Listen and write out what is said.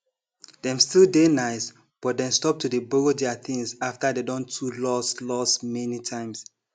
dem still dey nice but dem stop to dey borrow their things after dey don too loss loss many times